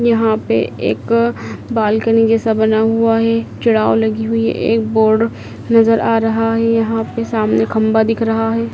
यहां पे एक बालकनी जैसा बना हुआ है चूढ़ाव लगी हुई है एक बोर्ड नजर आ रहा है यहां पे सामने खंबा दिख रहा है।